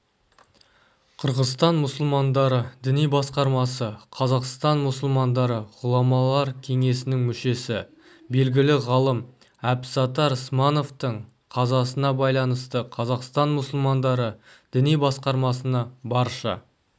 қырғызстан мұсылмандары діни басқармасы қазақстан мұсылмандары ғұламалар кеңесінің мүшесі белгілі ғалым әбсаттар смановтың қазасына байланысты қазақстан мұсылмандары діни басқармасына барша